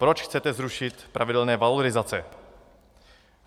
Proč chcete zrušit pravidelné valorizace?